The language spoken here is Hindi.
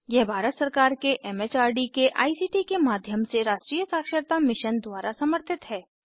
यह भारत सरकार के एम एच आर डी के आई सी टी के माध्यम से राष्ट्रीय साक्षरता मिशन द्वारा समर्थित है